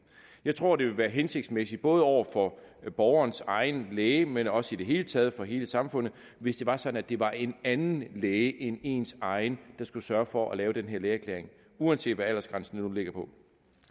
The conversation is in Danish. jeg tror at det vil være hensigtsmæssigt både over for borgerens egen læge men også i det hele taget over for hele samfundet hvis det var sådan at det var en anden læge end ens egen der skulle sørge for at lave den her lægeerklæring uanset hvad aldersgrænsen nu ligger på